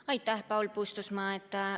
Aitäh, Paul Puustusmaa!